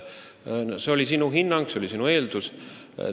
See oli sinu hinnang, see oli sinu eeldus.